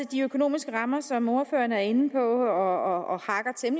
de økonomiske rammer som ordføreren er inde på og